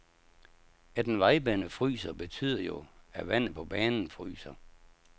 At en vejbane fryser betyder jo, at vandet på banen fryser.